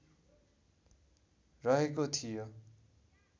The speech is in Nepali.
रहेको थियो